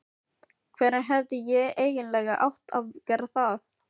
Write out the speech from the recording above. Hvenær hefði ég eiginlega átt að gera það?